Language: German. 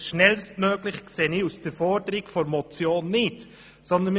Das «schnellstmöglich» kann ich den Forderungen der Motion nicht entnehmen.